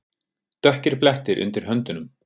Dökkir blettir undir höndunum.